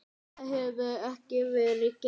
Það hefur ekki verið gert.